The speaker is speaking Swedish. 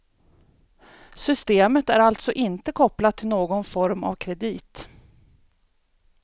Systemet är alltså inte kopplat till någon form av kredit.